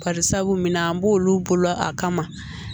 Barisabu minna an b'olu bolo a kama